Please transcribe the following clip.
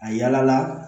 A yala